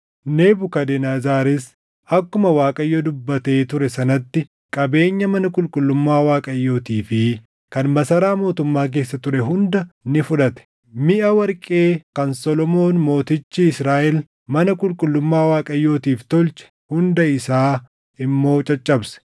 Nebukadnezaris akkuma Waaqayyo dubbatee ture sanatti qabeenya mana qulqullummaa Waaqayyootii fi kan masaraa mootummaa keessa ture hunda ni fudhate; miʼa warqee kan Solomoon mootichi Israaʼel mana qulqullummaa Waaqayyootiif tolche hunda isaa immoo caccabse.